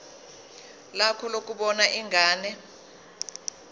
lakho lokubona ingane